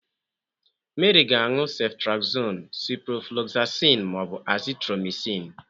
Meri ga anu Ceftriaxone, Ciprofloxacin, ma ọ bụ Azithromycin.